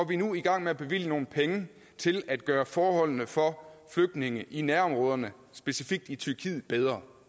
vi nu i gang med at bevilge nogle penge til at gøre forholdene for flygtninge i nærområderne specifikt i tyrkiet bedre